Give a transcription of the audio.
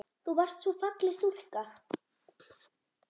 Þú varst svo falleg stúlka.